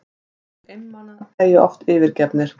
Hinir einmana deyja oft yfirgefnir.